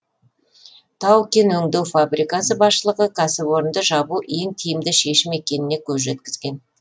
тау кен өңдеу фабрикасы басшылығы кәсіпорынды жабу ең тиімді шешім екеніне көз жеткізген